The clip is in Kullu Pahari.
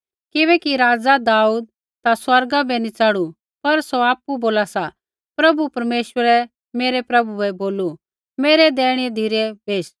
किबैकि राज़ा दाऊद ता स्वर्गा बै नी च़ढ़ू पर सौ आपु बोला सा प्रभु परमेश्वरै मेरै प्रभु बै बोलू मेरै दैहिणै बेश